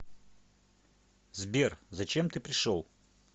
сбер зачем ты пришел